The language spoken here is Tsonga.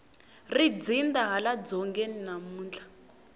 ri dzinda hala dzongeni namuntlha